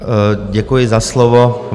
Děkuji za slovo.